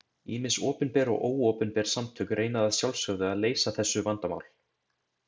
Ýmis opinber og óopinber samtök reyna að sjálfsögðu að leysa þessu vandamál.